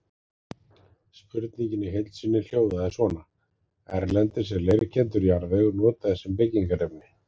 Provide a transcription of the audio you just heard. Spurningin í heild sinni hljóðaði svona: Erlendis er leirkenndur jarðvegur notaður sem byggingarefni.